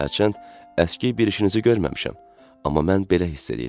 Hərçənd əski bir işinizi görməmişəm, amma mən belə hiss eləyirəm.